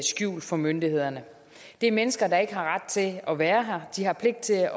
skjult for myndighederne det er mennesker der ikke har ret til at være her de har pligt til